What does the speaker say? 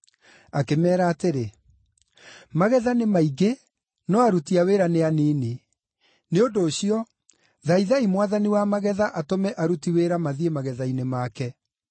Akĩmeera atĩrĩ, “Magetha nĩ maingĩ, no aruti a wĩra nĩ anini. Nĩ ũndũ ũcio, thaithai Mwathani wa magetha atũme aruti wĩra mathiĩ magetha-inĩ make.